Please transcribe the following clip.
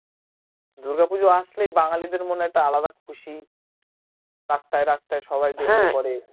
দূর্গা পূজো আসলেই বাঙালীদের মনে একটা আলাদা খুশি রাস্তায় রাস্তায় সবাই কোরে